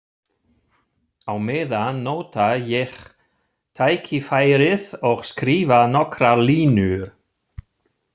Á meðan nota ég tækifærið og skrifa nokkrar línur.